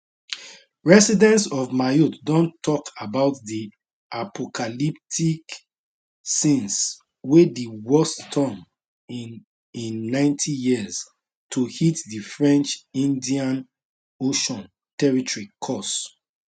residents of mayotte don tok about di apocalyptic scenes wey di worst storm in in 90 years to hit di french indian ocean territory cause